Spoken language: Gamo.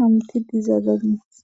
hamutiza danees.